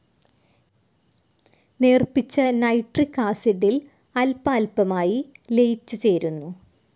നേർപ്പിച്ച nitric ആസിഡിൽ അല്പാല്പമായി ലയിച്ചുചേരുന്നു.